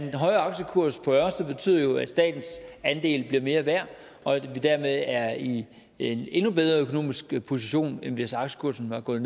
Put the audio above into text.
en højere aktiekurs på ørsted betyder jo at statens andel bliver mere værd og at vi dermed er i en endnu bedre økonomisk position end hvis aktiekursen var gået